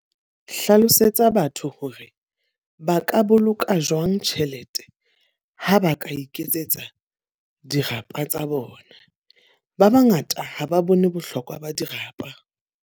Hlalosetsa batho hore ba ka boloka jwang tjhelete, ha ba ka iketsetsa dirapa tsa bona. Ba ba ngata ha ba bone bohlokwa ba dirapa.